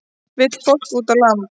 Vill fólk út á land